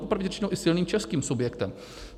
Popravdě řečeno i silným českým subjektem.